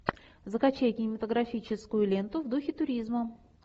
закачай кинематографическую ленту в духе туризма